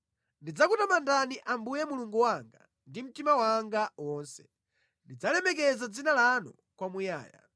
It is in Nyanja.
Ndidzakutamandani Ambuye Mulungu wanga, ndi mtima wanga wonse; ndidzalemekeza dzina lanu kwamuyaya.